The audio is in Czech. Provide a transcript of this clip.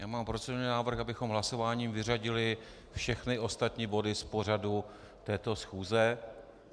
Já mám procedurální návrh, abychom hlasováním vyřadili všechny ostatní body z pořadu této schůze.